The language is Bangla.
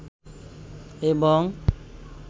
এবং